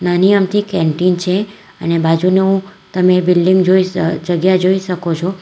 નાની અમથી કેન્ટીન છે અને બાજુનું તમે બિલ્ડીંગ જોઈ અહ જગ્યા જોઈ શકો છો.